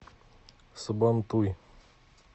сабантуй